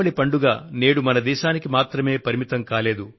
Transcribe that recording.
దీపావళి పండుగ నేడు మన ఒక్క దేశానికే పరిమితం కాలేదు